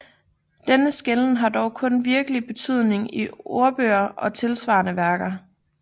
Denne skelnen har dog kun virkelig betydning i ordbøger og tilsvarende værker